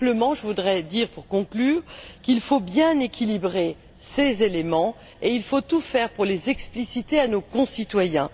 Je voudrais dire, pour conclure, qu'il faut bien équilibrer ces éléments et qu'il faut tout faire pour les expliciter à nos concitoyens.